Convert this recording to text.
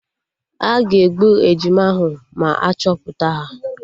Aga egbu ejima ahụ ma achọpụta ha